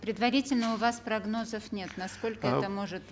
предварительно у вас прогнозов нет насколько это может